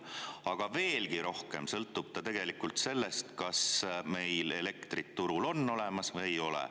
Aga veelgi rohkem sõltub ta tegelikult sellest, kas meil elektrit turul on olemas või ei ole.